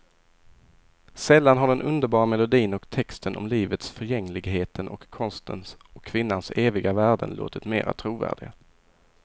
Sällan har den underbara melodin och texten om livets förgängligheten och konstens och kvinnans eviga värden låtit mera trovärdig.